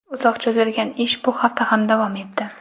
Uzoq cho‘zilgan ish bu hafta ham davom etdi.